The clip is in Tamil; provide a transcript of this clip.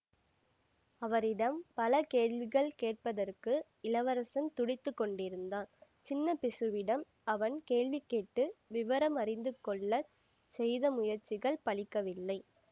அவரிடம் பல கேள்விகள் கேட்பதற்கு இளவரசன் துடித்து கொண்டிருந்தான் சின்ன பிக்ஷுவிடம் அவன் கேள்வி கேட்டு விவரம் அறிந்து கொள்ள செய்த முயற்சிகள் பலிக்கவில்லை